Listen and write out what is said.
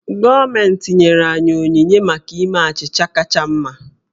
Gọọmentị nyere enyi m onyinye maka ime achịcha kacha mma